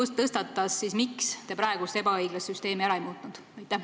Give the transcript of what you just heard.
Ja kui tõstatas, siis miks te praegust ebaõiglast süsteemi ära ei muutnud?